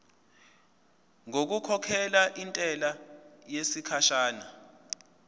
ngokukhokhela intela yesikhashana